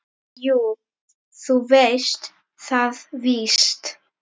Jú, þú veist það víst.